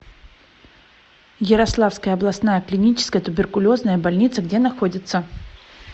ярославская областная клиническая туберкулезная больница где находится